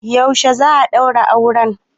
Yaushe za a ɗaura auren